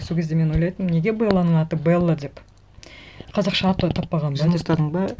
сол кезде мен ойлайтынмын неге белланың аты белла деп қазақша аты таппаған ба деп жының ұстадың ба